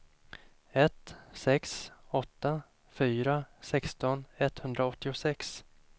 ett sex åtta fyra sexton etthundraåttiosex